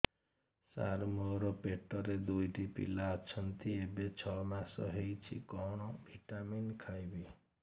ସାର ମୋର ପେଟରେ ଦୁଇଟି ପିଲା ଅଛନ୍ତି ଏବେ ଛଅ ମାସ ହେଇଛି କଣ ଭିଟାମିନ ଖାଇବି